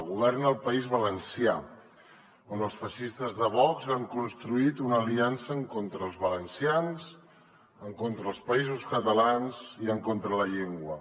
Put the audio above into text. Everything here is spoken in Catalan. governa al país valencià on els feixistes de vox han construït una aliança en contra dels valencians en contra dels països catalans i en contra de la llengua